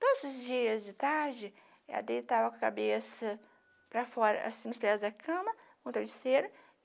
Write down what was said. Todos os dias de tarde, ela deitava a cabeça para fora, assim, nos pés da cama, com travesseiro.